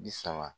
Bi saba